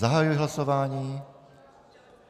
Zahajuji hlasování.